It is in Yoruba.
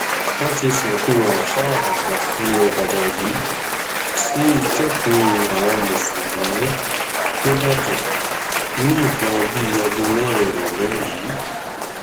wọn ti sìnkú àáfàá àgbà ilẹ ìbàdàn yìí sí ìtẹkùú àwọn mùsùlùmí nígbàdàn ní nǹkan bíi aago mẹrin ìrọlẹ yìí